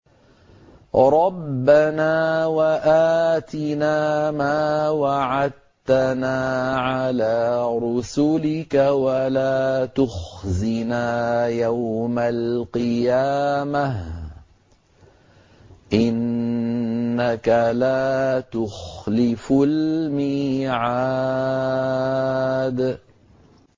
رَبَّنَا وَآتِنَا مَا وَعَدتَّنَا عَلَىٰ رُسُلِكَ وَلَا تُخْزِنَا يَوْمَ الْقِيَامَةِ ۗ إِنَّكَ لَا تُخْلِفُ الْمِيعَادَ